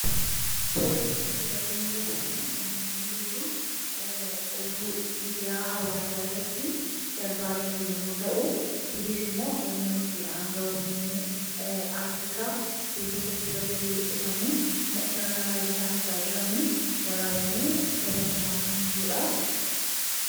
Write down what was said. suura asi irratti mul'atu kun kan inni mul'isu oduu miidiyaa hawaasaa irratti darbaa jiru yommuu ta'u kunis immoo yommuu itti aangawoonni afrikaa iddoo tokkotti walti dhufanii sirna marii taasisaa jiranii waraabamei dabarfamaa kan jiruudha